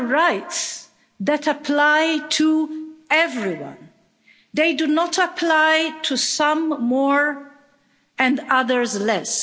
are the rights that apply to everyone. They do not apply to some more and others less.